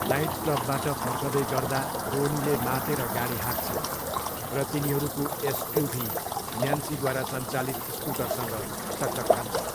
नाइटक्लबबाट फर्कँदै गर्दा रोनीले मातेर गाडी हाँक्छन् र तिनीहरूको एसयुभी न्यान्सीद्वारा सञ्चालित स्कुटरसँग टक्कर खान्छ।